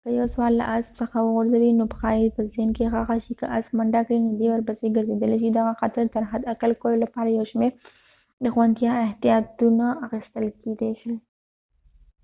که یو سوار له اسپ څخه وغورځي خو پښه يې په زین کې ښخه شي که اسپ منډه کړي نو دی ورپسې ګرړېدلی شي دغه خطر تر حد اقل کولو لپاره یو شمېر د خوندیتیا احتیاطونه اخستل کېدې شي